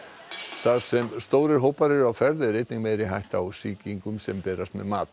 þar sem stórir hópar eru á ferð er einnig meiri hætta á sýkingum sem berast með mat